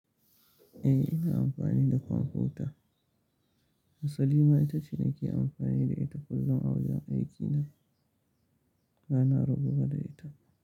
Eh, ina amfani da kwamfuta. Harsali ma ita ce nake amfani da ita kullum a wajen aikina. Bana rabuwa da ita.